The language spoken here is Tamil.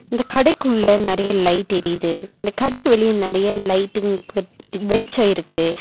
இந்த கடைக்குள்ள நெறைய லைட் எரிது இந்த கடைக்கு வெளியே நெறைய லைட்ங் கொத் வெளிச்சோ இருக்கு.